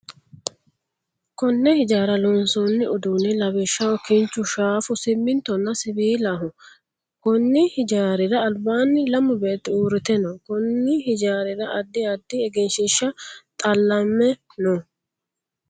Konne hijaara loonsanni uduunni lawishaho kinchu, shaafu, simintonna siwiilaho. Konni hijaarira albaanni lamu beeti uurite no. Konni hijaarira addi addi egenshiishi xallame no.